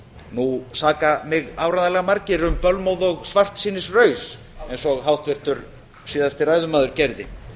nú saka mig áreiðanlega margir um bölmóð og svartsýnisraus eins og háttvirtur síðasti ræðumaður gerði